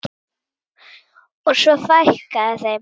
Og svo fækkaði þeim.